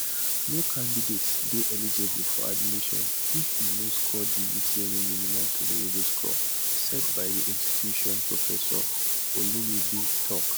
no candidate dey eligible for admission if e no score di utme minimum tolerable score set by di institution professor oloyede tok